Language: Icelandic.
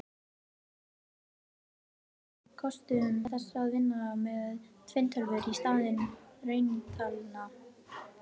Þetta er dæmi um einn af kostum þess að vinna með tvinntölur í stað rauntalna.